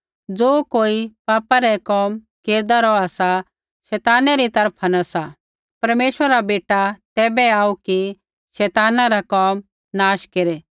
ज़ो कोई पापा रै कोम केरदा रौहा सा शैताना री तरफा न सा परमेश्वरा रा बेटा तैबै आऊ कि शैताना रा कोम नाश केरै